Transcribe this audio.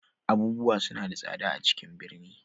Abubuwa suna da tsada a ciƙn ɓirni.